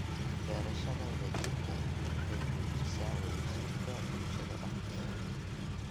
Beerashada wadajirka ahi waxay xoojisaa wadajirka bulshada dhexdeeda.